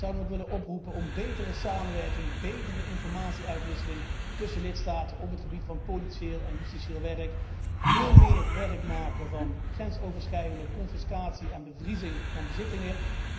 Ik zou dan ook willen oproepen tot betere samenwerking, betere informatie uitwisseling tussen lidstaten op het gebied van politieel en justitieel werk, en veel meer werk maken van grensoverschrijdende confiscatie en bevriezing van bezittingen.